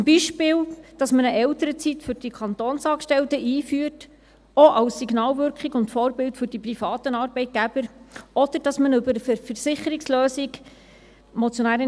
Zum Beispiel, indem man eine Elternzeit für die Kantonsangestellten einführt, auch als Signalwirkung und Vorbild für die privaten Arbeitgeber, oder indem man diesem Anliegen über eine Versicherungslösung gerecht werden kann;